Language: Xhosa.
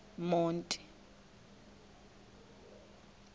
monti